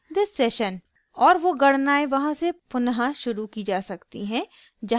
और वो गणनाएं वहाँ से पुनः शुरू की जा सकती है जहाँ आपने छोड़ी थीं